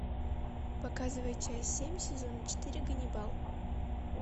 показывай часть семь сезона четыре ганнибал